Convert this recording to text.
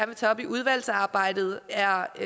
vil tage op i udvalgsarbejdet er